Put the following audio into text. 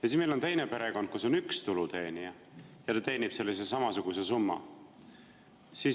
Ja siis meil on teine perekond, kus on üks tuluteenija, ja ta teenib samasuguse summa.